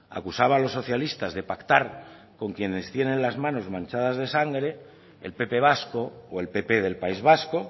acusaba a los socialistas de pactar con quienes tienen las manos manchadas de sangre el pp vasco o el pp del país vasco